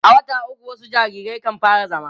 a wata ukwu wasu jariran kan fara zama